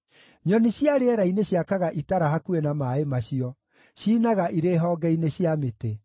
Nyoni cia rĩera-inĩ ciakaga itara hakuhĩ na maaĩ macio; ciinaga irĩ honge-inĩ cia mĩtĩ.